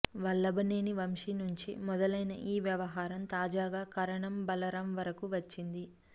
వల్లభనేని వంశీ నుంచి మొదలైన ఈ వ్యవహారం తాజాగా కారణమా బలరాం వరకు వచ్చింది